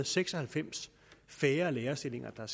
seks og halvfems færre lærerstillinger